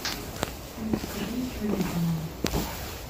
привет закажи мне сегодня бананов